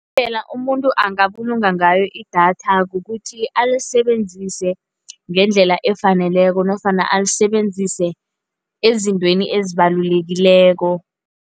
Indlela umuntu angabulunga ngayo i-datha kukuthi alisebenzise ngendlela efaneleko nofana alisebenzise ezintweni ezibalulekileko.